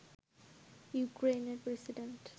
ইউক্রেইনের প্রেসিডেন্ট